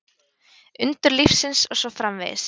Undur lífsins og svo framvegis.